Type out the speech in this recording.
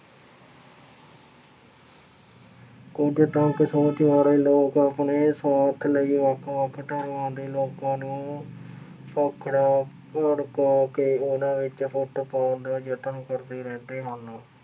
ਕੁੱਝ ਤੰਗ ਸੋਚ ਵਾਲੇ ਲੋਕ ਆਪਣੇ ਸੁਆਰਥ ਲਈ ਵੱਖ ਵੱਖ ਧਰਮਾਂ ਦੇ ਲੋਕਾਂ ਨੂੰ ਭੜਕਾ ਕੇ ਉਹਨਾ ਵਿੱਚ ਫੁੱਟ ਪਾਉਣ ਦਾ ਯਤਨ ਕਰਦੇ ਰਹਿੰਦੇ ਹਨ।